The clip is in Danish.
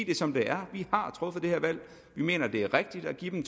det som det er vi har truffet det her valg vi mener det er rigtigt at give dem